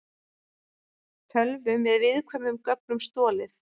Tölvu með viðkvæmum gögnum stolið